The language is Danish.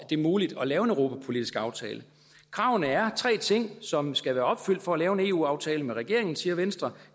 det er muligt at lave en europapolitisk aftale kravene er tre ting som skal være opfyldt for at lave en eu aftale med regeringen siger venstre